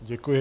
Děkuji.